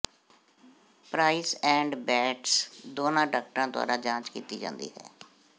price and Bates ਦੋਨਾਂ ਡਾਕਟਰਾਂ ਦੁਆਰਾ ਜਾਂਚ ਕੀਤੀ ਜਾਂਦੀ ਹੈ